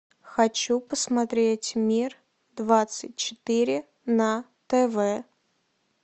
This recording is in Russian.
хочу посмотреть мир двадцать четыре на тв